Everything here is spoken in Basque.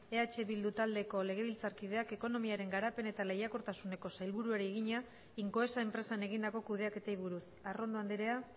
eh bildu taldeko legebiltzarkideak ekonomiaren garapen eta lehiakortasuneko sailburuari egina incoesa enpresan egindako kudeaketei buruz arrondo andrea